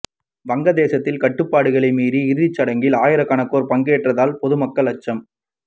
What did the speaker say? வங்கதேசத்தில் கட்டுப்பாடுகளை மீறி இறுதி சடங்கில் ஆயிரகணக்கானோர் பங்கேற்றதால் பொதுமக்கள் அச்சம்